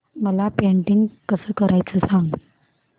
मला पेंटिंग कसं करायचं सांग